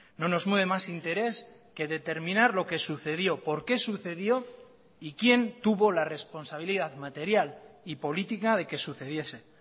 no nos mueve más interés que determinar lo que sucedió por qué sucedió y quién tuvo la responsabilidad material y política de que sucediese